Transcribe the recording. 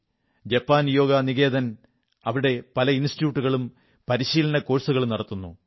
Japan Yoga Niketan അവിടെ പല ഇൻസ്റ്റിട്യൂട്ടുകളും പരിശീലന കോഴ്സുകളും നടത്തുന്നു